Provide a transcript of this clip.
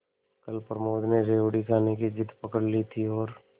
कल प्रमोद ने रेवड़ी खाने की जिद पकड ली थी और